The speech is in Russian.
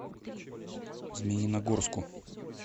змеиногорску